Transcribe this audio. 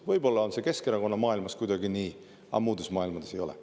Võib-olla on see Keskerakonna maailmas kuidagi nii, aga muudes maailmades ei ole.